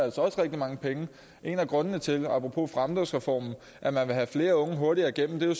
rigtig mange penge en af grundene til apropos fremdriftsreformen at man vil have flere unge hurtigere igennem er jo